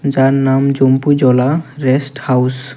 যার নাম Jampujala rest house.